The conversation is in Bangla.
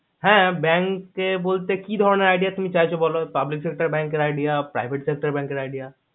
হ্যা bank কে বলতে কি ধরণের idea তুমি চাচ্ছো বলো public sector bank idea private sector idea